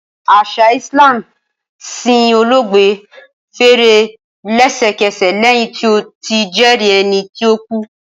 Asa Islam sin oloogbe fere lesekese lẹhin ti o ti jẹri ẹni ti o ku.